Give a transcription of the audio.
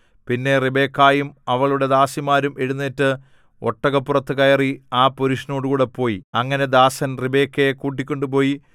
പിന്നെ റിബെക്കായും അവളുടെ ദാസിമാരും എഴുന്നേറ്റ് ഒട്ടകപ്പുറത്തു കയറി ആ പുരുഷനോടുകൂടെ പോയി അങ്ങനെ ദാസൻ റിബെക്കയെ കൂട്ടിക്കൊണ്ടുപോയി